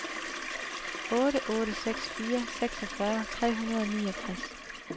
otte otte seks fire seksogfyrre tre hundrede og niogtres